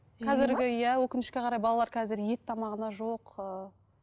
иә өкінішке қарай балалар қазір ет тамағына жоқ ыыы